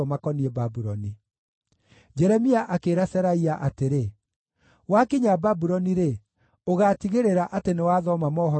Jeremia akĩĩra Seraia atĩrĩ, “Wakinya Babuloni-rĩ, ũgaatigĩrĩra atĩ nĩwathoma mohoro maya mothe wanĩrĩire.